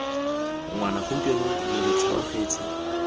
ngwana gompieno lo re tlhanogetse